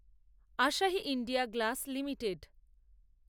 Asahi India glass limited